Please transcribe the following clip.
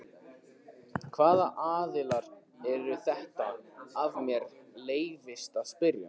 Hvaða aðilar eru þetta ef mér leyfist að spyrja?